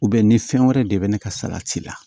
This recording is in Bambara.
ni fɛn wɛrɛ de bɛ ne ka salati la